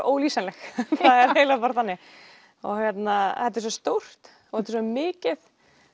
ólýsanleg það er eiginlega bara þannig þetta er svo stórt og þetta er svo mikið